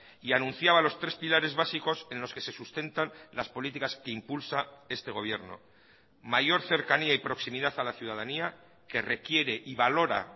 y anunciaba los tres pilares básicos en los que se sustentan las políticas que impulsa este gobierno mayor cercanía y proximidad a la ciudadanía que requiere y valora